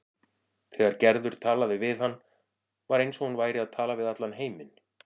Þegar Gerður talaði við hann var eins og hún væri að tala við allan heiminn.